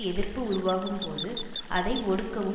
எதிர்ப்பு உருவாகும்போது அதை ஒடுக்கவும்